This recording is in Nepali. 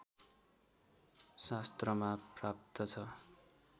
शास्त्रमा प्राप्त छ